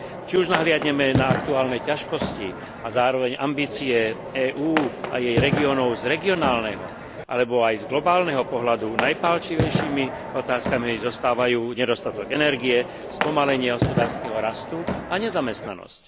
Či už nahliadneme na aktuálne ťažkosti a zároveň ambície EÚ a jej regiónov z regionálneho alebo aj z globálneho pohľadu, najpálčivejšími otázkami zostávajú nedostatok energie, spomalenie hospodárskeho rastu a nezamestnanosť.